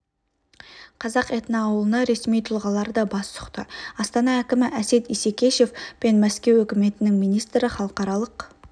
қазақ этноауылына ресми тұлғалар да бас сұқты астана әкімі әсет исекешев пен мәскеу үкіметінің министрі халықаралық